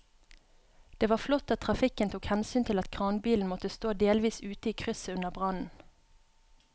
Det var flott at trafikken tok hensyn til at kranbilen måtte stå delvis ute i krysset under brannen.